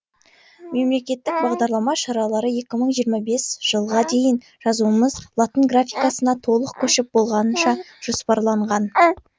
мемлекеттік бағдарлама шаралары екі мың жиырма бес жылға дейін жазуымыз латын графикасына толық көшіп болғанша жоспарланған